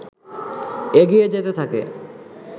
এগিয়ে যেতে থাকে